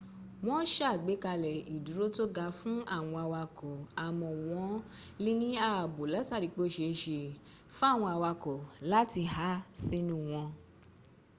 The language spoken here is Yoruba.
wọ́n sàgbékalẹ̀ ìdúró tó ga fún àwọn awakọ̀ àmọ́ wọ́n lè ní ààbò látarí pé ó se é se fáwọn awakọ̀ láti há sínú wọn